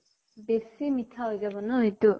বেছি মিঠা হৈ যাব ন সিটো?